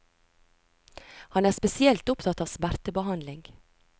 Han er spesielt opptatt av smertebehandling.